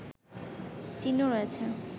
চিহ্ন রয়েছে